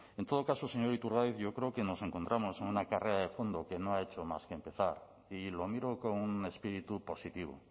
en todo caso señor iturgaiz yo creo que nos encontramos en una carrera de fondo que no ha hecho más que empezar y lo miro con un espíritu positivo